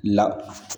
La